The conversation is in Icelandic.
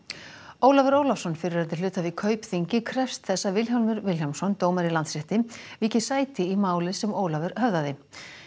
Ólafur Ólafsson fyrrverandi hluthafi í Kaupþingi krefst þess að Vilhjálmur Vilhjálmsson dómari í Landsrétti víki sæti í máli sem Ólafur höfðaði